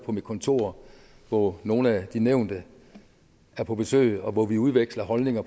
på mit kontor hvor nogle af de nævnte er på besøg og hvor vi udveksler holdninger